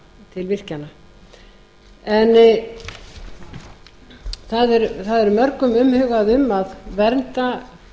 til virkjana það er mörgum umhugað um að vernda